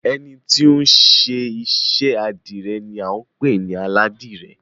Ẹni ti ó ń ṣiṣẹ́ àdìrẹ ni à ń pè ní Aládìrẹ.